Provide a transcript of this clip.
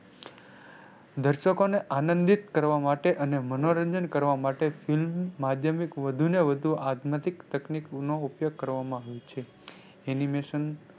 દર્શકો ને આનંદિત કરવા માટે અને મનોરંજન કરવા માટે film માધ્યમિક વધુ ને વધુ આધ્યાત્મિક તકનીકો નો ઉપયોગ કરવામાં આવે છે. Animation